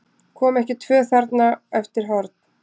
Komu ekki tvö þarna eftir horn?